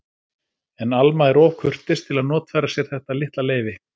En Alma er of kurteis til að notfæra sér þetta litla leyfi.